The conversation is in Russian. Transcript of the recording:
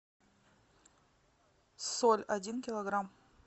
соль один килограмм